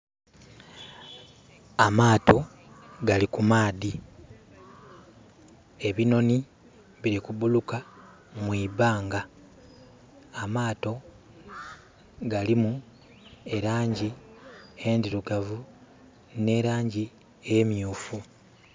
Amaato gali ku maadhi. Ebinhonhi biri kubuluka mu ibanga. Amaato galimu elaangi endhirugavu, n'elaangi emyuufu.